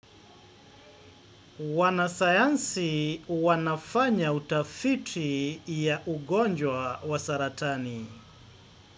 Wanasayansi wanafanya utafiti ya ugonjwa wa saratani.